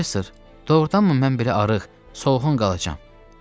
Professor, doğurdanmı mən belə arıq, solğun qalacam?